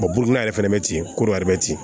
burukina yɛrɛ fɛnɛ be ten koro